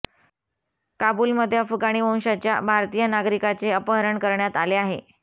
काबूलमध्ये अफगाणी वंशाच्या भारतीय नागरिकाचे अपहरण करण्यात आले आहे